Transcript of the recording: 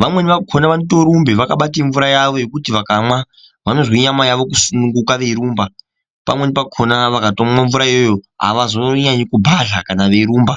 Vamweni vakhona vanotorumbe vakabata mvura yavo yekuti vakamwa vanozwe nyama yavo kusununguka veirumba. Pamweni pakhona vakatomwa mvura iyoyo avazonyanyi kubhadhla kana veirumba.